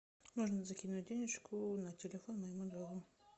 нужно закинуть денежку на телефон моему другу